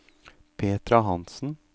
Petra Hansen